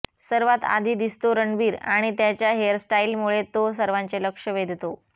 सर्वात आधी दिसतो रणबीर आणि त्याच्या हेअरस्टाइलमुळे तो सर्वांचे लक्ष वेधतो